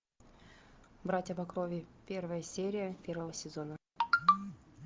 братья по крови первая серия первого сезона